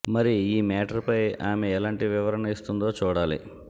మరి ఈ మ్యాటర్ పై ఆమె ఎలాంటి వివరణ ఇస్తుందో చూడాలి